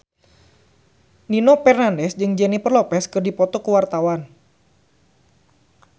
Nino Fernandez jeung Jennifer Lopez keur dipoto ku wartawan